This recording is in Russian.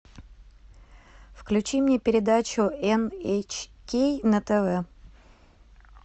включи мне передачу эн эйч кей на тв